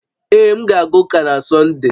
Ee, m ga-aga ụka na Sọnde